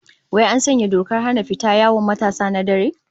Wai an sanya dokar hana fita yawon matasa na dare?